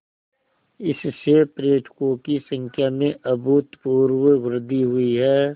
इससे पर्यटकों की संख्या में अभूतपूर्व वृद्धि हुई है